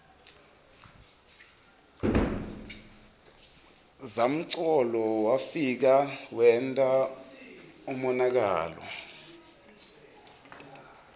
zamcolo wefika wenta umonakalo